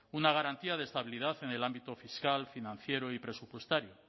una garantía de estabilidad en el ámbito fiscal financiero y presupuestario